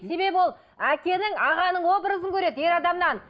себебі ол әкенің ағаның образын көреді ер адамнан